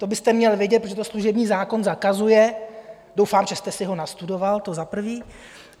To byste měl vědět, protože to služební zákon zakazuje, doufám, že jste si ho nastudoval, to za prvé.